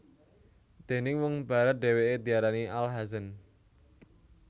Déning wong Barat dheweke diarani Al Hazen